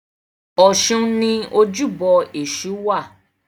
Ọ̀ṣun ni ojúbọ Èṣù wà.